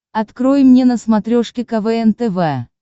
открой мне на смотрешке квн тв